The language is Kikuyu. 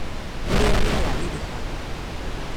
Ũrĩa rĩera rĩrĩhaga